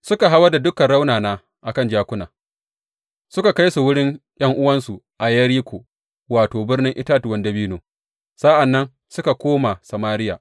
Suka hawar da dukan raunana a kan jakuna, suka kai su wurin ’yan’uwansu a Yeriko, wato, Birnin Itatuwan Dabino, sa’an nan suka koma Samariya.